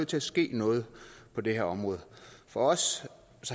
til at ske noget på det her område for os